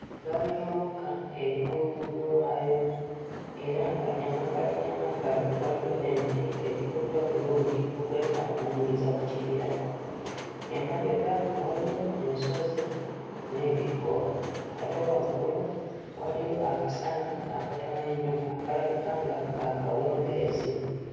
Eggaali y'omukka eri ku luguudo lwayo era nga emabbali n'emabbali waliyo emiti egikutte obulungi okwefaananyiriza ku kibira, emabega waliyo ensozi n'ebikko, ate waggulu waliyo akasana akatono ennyo akalabika nga ka kawungeezi.